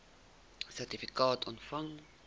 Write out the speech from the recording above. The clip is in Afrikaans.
sertifikaat ontvang